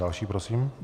Další prosím.